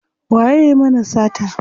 Waye yayi mana sata?